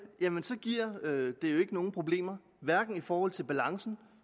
giver det jo ikke nogen problemer hverken i forhold til balancen